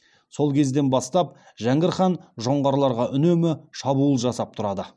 сол кезден бастап жәңгір хан жоңғарларға үнемі шабуыл жасап тұрады